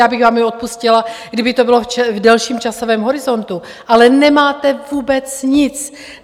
Já bych vám je odpustila, kdyby to bylo v delším časovém horizontu, ale nemáte vůbec nic.